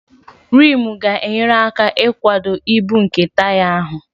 Rimu ga-enyere aka ịkwado ibu nke taya ahụ